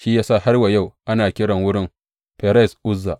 Shi ya sa har wa yau ana kira wurin Ferez Uzza.